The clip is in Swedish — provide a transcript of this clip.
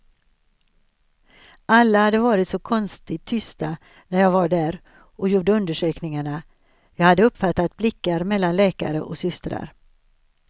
Alla hade varit så konstigt tysta när jag var där och gjorde undersökningarna, jag hade uppfattat blickar mellan läkare och systrar.